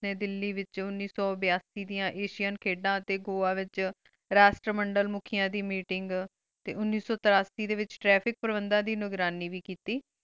ਦਿਲੀ ਵੇਚੁਨ ਉਨੀ ਸੋ ਬੇਆਸੇਦੇਯਾਂ ਇਸ਼ਿਇਆ ਦੇ ਖਾਦਾ ਟੀ ਘੁਯਾ ਵੇਚ ਰਸ੍ਤ ਮੁਨ੍ਦੇਲ੍ਮੁਖੀ ਦੇ meeting ਟੀ ਉਨੀ ਸੋ ਤੇਰਾਸੀ ਡੀ ਵੇਚ ਤ੍ਰਿਫਿਕ ਪੇਰ੍ਵੇਂਦਾਂ ਦੇ ਨ੍ਘ੍ਰਾਨੀ ਵੇ ਕੀਤੀ